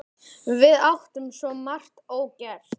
Við áttum svo margt ógert.